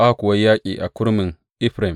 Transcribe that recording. Aka kuwa yi yaƙi a kurmin Efraim.